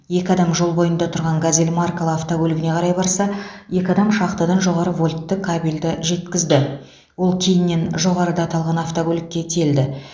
екі адам жол бойында тұрған газель маркалы автокөлігіне қарай барса екі адам шахтадан жоғары вольтты кабелді жеткізді ол кейіннен жоғарыда аталған автокөлікке тиелді